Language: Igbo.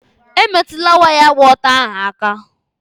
Emetụla waya gba ọtọ ahụ aka!